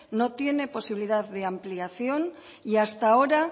no tiene posibilidad de ampliación y hasta ahora